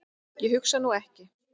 Ég hugsa nú ekki.